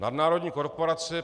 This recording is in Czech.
Nadnárodní korporace.